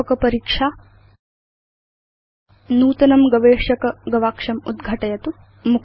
व्यापक परीक्षा नूतनं गवेषक गवाक्षम् उद्घाटयतु